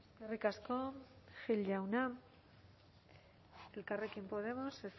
eskerrik asko gil jauna elkarrekin podemos